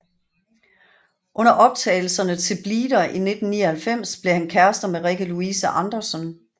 Under optagelserne til Bleeder i 1999 blev han kærester med Rikke Louise Andersson